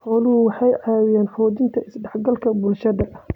Xooluhu waxay caawiyaan xoojinta is-dhexgalka bulshada.